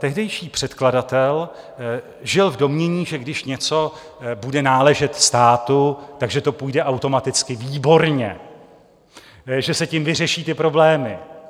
Tehdejší předkladatel žil v domnění, že když něco bude náležet státu, že to půjde automaticky výborně, že se tím vyřeší ty problémy.